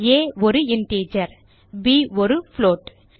ஆ ஒரு இன்டிஜர் மற்றும் ப் ஒரு புளோட்